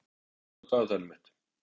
Vilborg, opnaðu dagatalið mitt.